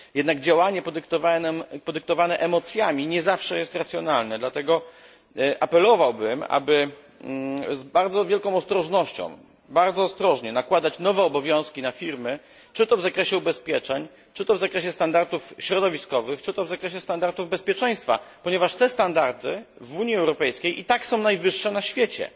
Jednak działanie podyktowane emocjami nie zawsze jest racjonalne, dlatego apelowałbym o to, aby z bardzo wielką ostrożnością, bardzo ostrożnie, nakładać nowe obowiązki na firmy, czy to w zakresie ubezpieczeń, czy to w zakresie standardów środowiskowych, czy to w zakresie standardów bezpieczeństwa, ponieważ te standardy w Unii Europejskiej i tak są najwyższe na świecie.